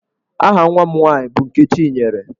Aha nwa m nwaanyị bụ Nkechinyere.